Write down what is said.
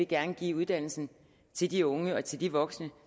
gerne give uddannelsen til de unge og til de voksne